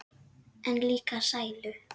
En líka sælu.